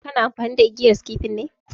Kana amfani da igiyan skifi ne?